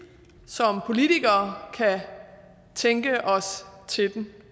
som politikere kan tænke os til den